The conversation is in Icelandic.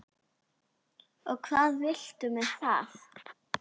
Og hvað viltu með það?